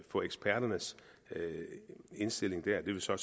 få eksperternes indstilling det ville så